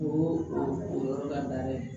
O y'o o yɔrɔ la ye